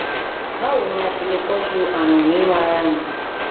bawo ni a ṣe le tọju arun ninu ara mi